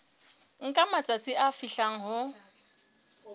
nka matsatsi a fihlang ho